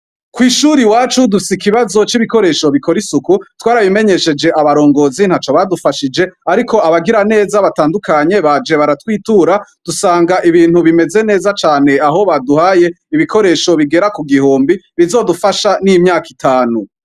Kw'ishuri wacu dusa ikibazo c'ibikoresho bikora isuku twarabimenyesheje abarongozi nta co badufashije, ariko abagira neza batandukanye baje baratwitura dusanga ibintu bimeze neza cane aho baduhaye ibikoresho bigera ku gihumbi rizodufasha n'imyaka itanu.